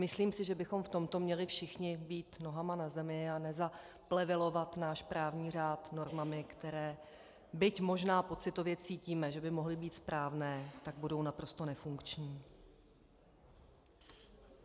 Myslím si, že bychom v tomto měli všichni být nohama na zemi a nezaplevelovat náš právní řád normami, které byť možná pocitově cítíme, že by mohly být správné, tak budou naprosto nefunkční.